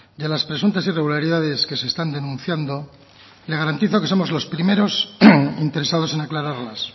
de las presuntas irregularidades que se están denunciando le garantizo que somos los primeros interesados en aclararlas